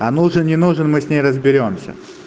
а нужен не нужен мы с ней разберёмся